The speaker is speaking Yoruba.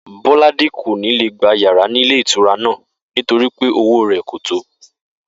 Bó̩ládé kò ní lè gba yàrá nílé ìtura náà nítorí pé owó rè̩ kò tó